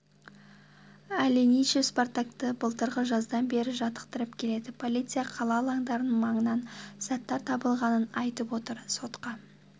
аленичев спартакты былтырғы жаздан бері жаттықтырып келеді полиция қала алаңдарының маңынан заттар табылғанын айтып отыр сотқа